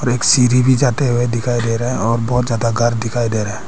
और एक सीढ़ी भी जाते हुए दिखाई दे रहा और बहोत ज्यादा घर दिखाई दे रहा है।